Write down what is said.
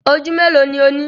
Oju melo ni o ni?